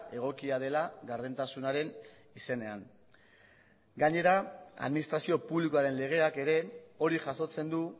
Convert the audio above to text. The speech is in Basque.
egokia dela gardentasunaren izenean gainera administrazio publikoaren legeak ere hori jasotzen du